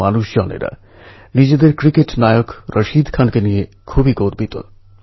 মানুষের চিন্তাভাবনাকে উদ্বেলিত করেছে